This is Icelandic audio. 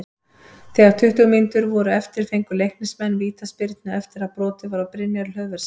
Þegar tuttugu mínútur voru eftir fengu Leiknismenn vítaspyrnu eftir að brotið var á Brynjari Hlöðverssyni.